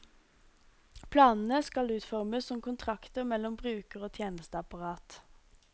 Planene skal utformes som kontrakter mellom bruker og tjenesteapparat.